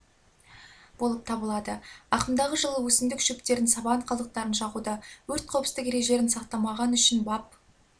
болып табылады ағымдағы жылы өсімдік шөптерін сабан қалдықтарын жағуда өрт қауіпсіздік ережелерін сақтамағаны үшін бап